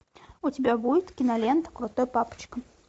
у тебя будет кинолента крутой папочка